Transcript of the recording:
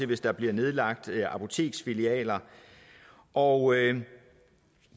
hvis der bliver nedlagt apoteksfilialer og